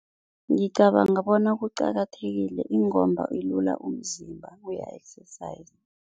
Ngicabanga bona kuqakathekile ingomba ilula umzimba, uya-exerciser.